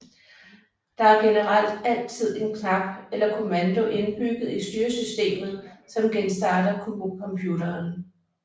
Der er generelt altid en knap eller kommando indbygget i styresystemet som genstarter computeren